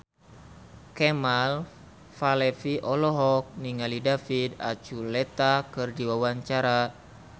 Kemal Palevi olohok ningali David Archuletta keur diwawancara